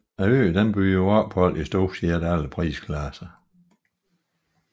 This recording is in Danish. Øen byder på ophold i stort set alle prisklasser